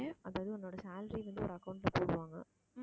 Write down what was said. அதாவது உன்னோட salary வந்து ஒரு account ல போடுவாங்க